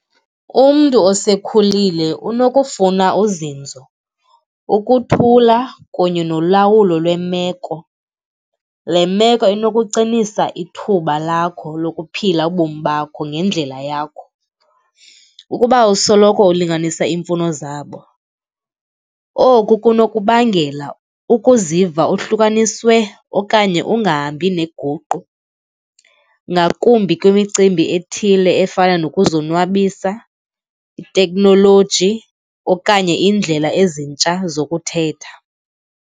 Umntu osekhulile unokufuna uzinzo, ukuthula kunye nolawulo lwemeko. Le meko inokucinisa ithuba lakho lokuphila ubomi bakho ngendlela yakho, ukuba usoloko ulinganisa iimfuno zabo. Oku kunokubangela ukuziva uhlukaniswe okanye ungahambi nenguqu, ngakumbi kwimicimbi ethile efana nokuzonwabisa, iteknoloji okanye iindlela ezintsha zokuthetha.